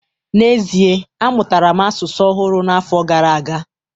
N'ezie, amụtara m asụsụ ọhụrụ n'afọ gara aga